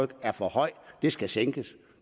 det er for højt og det skal sænkes